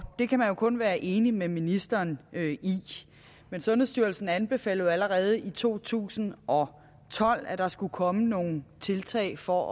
det kan man jo kun være enig med ministeren i men sundhedsstyrelsen anbefalede jo allerede i to tusind og tolv at der skulle komme nogle tiltag for